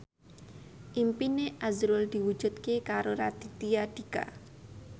impine azrul diwujudke karo Raditya Dika